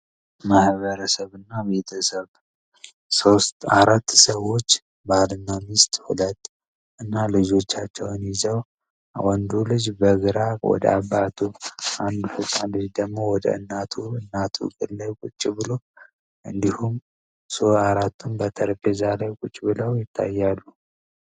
ማህበረሰብ እና ቤተሰብ አራት ሰዎች ሁለት ባል እና ሚስት እና ልጆቻቸውን ይዘው አንዱ ልጅ በግራ ወደ አባቱ በኩል አንዱ ደግሞ ወደ እናቱ እግር ስር ቁጭ ብሎ እንዲሁም አራቱም በጠረጴዛ ላይ ቁጭ ብለው ይታያሉ።